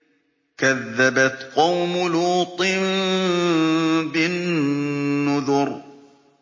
كَذَّبَتْ قَوْمُ لُوطٍ بِالنُّذُرِ